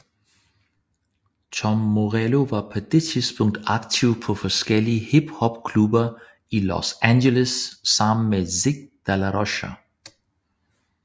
Tom Morello var på det tidspunkt aktiv på forskellige hiphopklubber i Los Angeles sammen med Zack de la Rocha